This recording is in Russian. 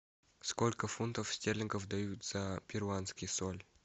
сколько фунтов стерлингов дают за перуанский соль